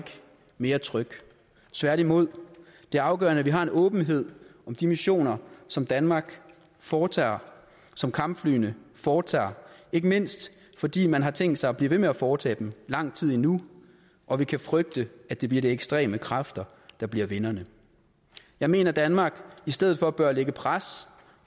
mere tryg tværtimod det er afgørende at vi har en åbenhed om de missioner som danmark foretager som kampflyene foretager ikke mindst fordi man har tænkt sig at blive ved med at foretage dem lang tid endnu og vi kan frygte at det bliver de ekstreme kræfter der bliver vinderne jeg mener at danmark i stedet for bør lægge pres